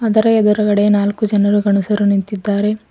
ಅದರ ಎದುರುಗಡೆ ನಾಲ್ಕು ಜನರು ಗಂಡಸರು ನಿಂತಿದ್ದಾರೆ.